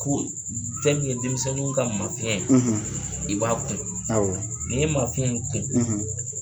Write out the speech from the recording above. Ko fɛn min ye denmisɛnninw ka mafiɲɛn ye i b'a kun , ni ye mafiɲɛ kun